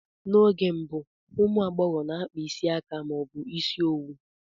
N'oge mbụ, ụmụ agbọghọ na-akpa isi aka ma ọ bụ ịsị owu